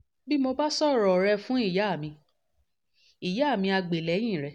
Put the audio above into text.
bí mo bá sọ̀rọ̀ rẹ̀ fún ìyá mi ìyá mi ah gbè lẹ́yìn rẹ̀